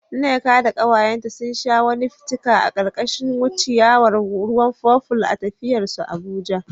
Nneka da kawayenta sun sha wani fitika a karkashin ciyawar ruwan purple a tafiyar su Abuja.